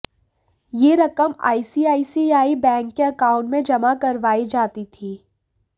यह रकम ICICI bank के अकाउंट में जमा करवाई जाती थी